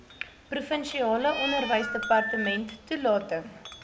provinsiale onderwysdepartement toelating